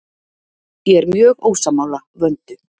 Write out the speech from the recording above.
Ég er mjög ósammála Vöndu.